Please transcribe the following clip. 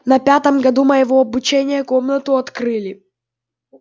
на пятом году моего обучения комнату открыли